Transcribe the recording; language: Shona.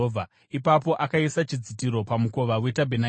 Ipapo akaisa chidzitiro pamukova wetabhenakeri.